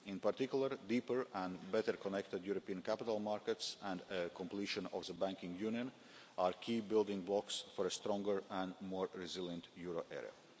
In particular, deeper and better connected European capital markets and a completion of the banking union are key building blocks for a stronger and more resilient euro area.